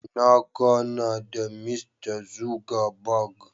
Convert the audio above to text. Na gana da Mista Zuckerberg.